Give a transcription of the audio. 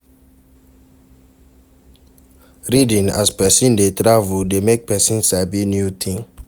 Reading as person dey travel de make persin sabi new thing